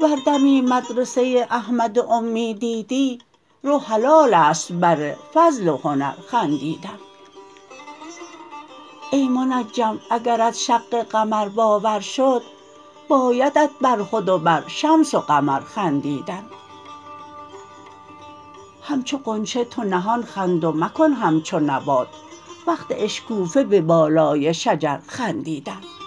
ور دمی مدرسه احمد امی دیدی رو حلالستت بر فضل و هنر خندیدن ای منجم اگرت شق قمر باور شد بایدت بر خود و بر شمس و قمر خندیدن همچو غنچه تو نهان خند و مکن همچو نبات وقت اشکوفه به بالای شجر خندیدن